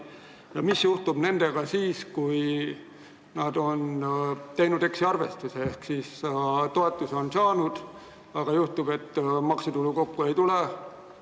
Ja mis juhtub nendega siis, kui nad on teinud eksiarvestuse, ehk kui nad on toetuse saanud, aga maksutulu kokku ei tule?